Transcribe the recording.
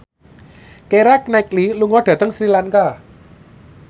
Keira Knightley lunga dhateng Sri Lanka